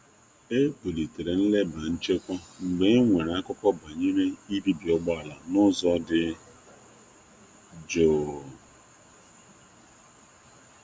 E buliri ọnụ ọgụgụ ndị nche mgbe mkpesa igbuka ụgbọ ala zupu ihe n'ime ya ma n'ahughi onye mere ya biara dị jụụ.